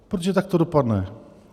Protože tak to dopadne.